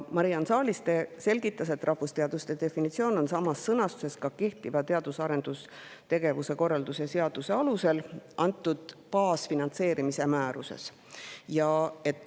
Mariann Saaliste selgitas, et rahvusteaduste definitsioon on samas sõnastuses ka kehtiva teadus‑ ja arendustegevuse korralduse seaduse alusel baasfinantseerimise määruses.